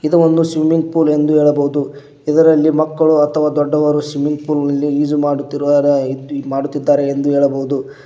ಇದು ಒಂದು swimming pool ಎಂದು ಹೇಳಬಹುದು ಇದರಲ್ಲಿ ಮಕ್ಕಳು ಅಥವಾ ದೊಡ್ಡವರು ಸ್ವಿಮ್ಮಿಂಗ್ ಪೂಲ್ ನಲ್ಲಿ ಈಜು ಮಾಡುತ್ತಿರು ಮಾಡುತ್ತಿದ್ದಾರೆ ಎಂದು ಹೇಳಬಹುದು.